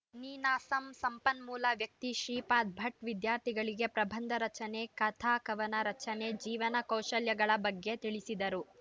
ನೀನಾಸಂ ಸಂಪನ್ಮೂಲ ವ್ಯಕ್ತಿ ಶ್ರೀಪಾದ ಭಟ್‌ ವಿದ್ಯಾರ್ಥಿಗಳಿಗೆ ಪ್ರಬಂಧ ರಚನೆ ಕಥಕವನ ರಚನೆ ಜೀವನ ಕೌಶಲ್ಯಗಳ ಬಗ್ಗೆ ತಿಳಿಸಿದರು